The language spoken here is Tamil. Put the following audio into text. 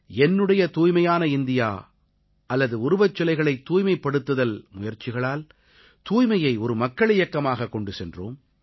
என்னுடையதூய்மையானஇந்தியா அல்லது உருவச்சிலைகளைத்தூய்மைப்படுத்தல்முயற்சிகளால் தூய்மையை ஒரு மக்கள் இயக்கமாகக் கொண்டு சென்றோம்